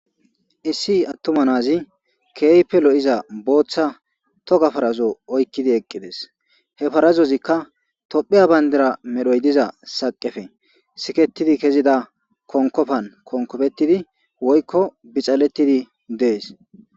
issi attumanazi keeype lo7iza booththa toka farazo oykkidi eqqides he parazozikka tophiya bayndera medhoy diza saqefe siketidi kezida konkofan konkofetidi woykko bixalettidi dees